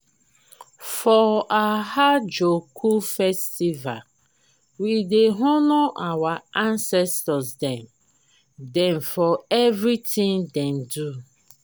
for ahiajoku festival we dey honour our ancestor dem dem for everytin dem do.